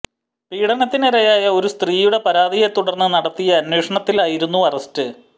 പീഡനത്തിനിരയായ ഒരു സ്ത്രീയുടെ പരാതിയെ തുടര്ന്ന് നടത്തിയ അന്വേഷണത്തിലായിരുന്നു അറസ്റ്റ്